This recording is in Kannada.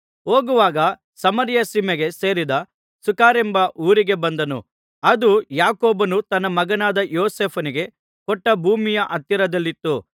ಹೋಗುವಾಗ ಸಮಾರ್ಯ ಸೀಮೆಗೆ ಸೇರಿದ ಸುಖರೆಂಬ ಊರಿಗೆ ಬಂದನು ಅದು ಯಾಕೋಬನು ತನ್ನ ಮಗನಾದ ಯೋಸೇಫನಿಗೆ ಕೊಟ್ಟ ಭೂಮಿಯ ಹತ್ತಿರದಲ್ಲಿತ್ತು